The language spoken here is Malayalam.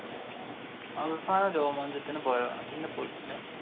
അവസാനം രോമാഞ്ചത്തിന് പോയതാ. പിന്നെ പോയിട്ടില്ല.